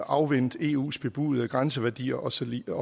afvente eus bebudede grænseværdier og så videre